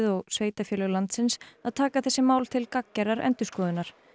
og sveitarfélög landsins að taka þessi mál til gagngerrar endurskoðunar